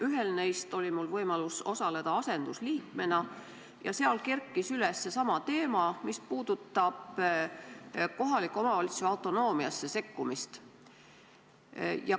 Ühel neist aruteludest oli mul võimalus osaleda asendusliikmena ja seal kerkis üles seesama teema, mis puudutab kohaliku omavalitsuse autonoomiasse sekkumist.